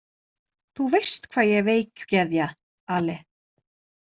Þú veist hvað ég er veikgeðja, Ale.